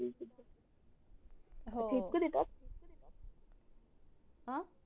हो आ